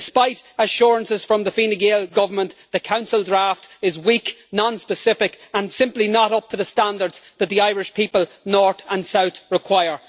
Despite assurances from the Fine Gael Government, the Council draft is weak, non specific, and simply not up to the standards that the Irish people, North and South, require.